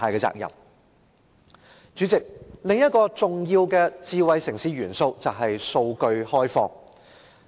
主席，智慧城市另一個重要元素是開放數據。